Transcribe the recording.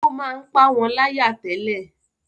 ó máa ń pá wọn láyà tẹ́lẹ̀